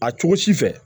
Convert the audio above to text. A cogo si fɛ